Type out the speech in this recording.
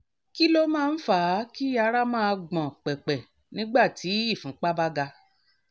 kí ló máa ń fà á kí ara máa gbọ̀n pẹ̀pẹ̀ nígbà tí ìfúnpá bá ga?